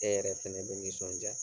E yɛrɛ fɛnɛ bɛ nisɔnja.